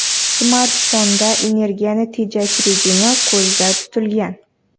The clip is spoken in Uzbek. Smartfonda energiyani tejash rejimi ko‘zda tutilgan.